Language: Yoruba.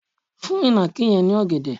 fún ìnàkí yẹn ní ògèdè